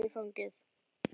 Og ég tek hana í fangið.